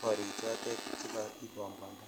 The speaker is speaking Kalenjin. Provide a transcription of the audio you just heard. korichotet che kaikobwanda